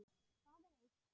Það er eitt.